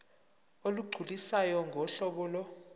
olugculisayo ngohlobo lo